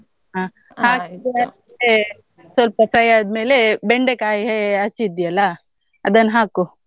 ಹ ಹಾಕಿ ಆದ್ಮೇಲೆ ಸ್ವಲ್ಪ fry ಆದ್ಮೇಲೆ ಬೆಂಡೆಕಾಯಿ ಹ~ ಹಚ್ಚಿದ್ಯಲ್ಲಾ ಅದನ್ನ್ ಹಾಕು.